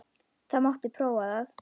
Það mátti prófa það.